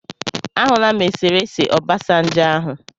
Ahụla m esere ese Obasanjo ahụ.